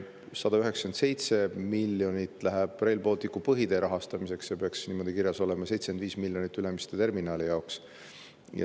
197 miljonit läheb Rail Balticu põhitee rahastamiseks, see peaks niimoodi kirjas olema, 75 miljonit Ülemiste terminali jaoks.